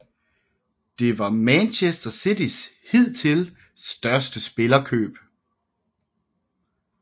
Det var Manchester Citys hidtil største spillerkøb